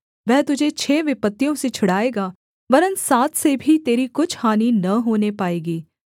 वह तुझे छः विपत्तियों से छुड़ाएगा वरन् सात से भी तेरी कुछ हानि न होने पाएगी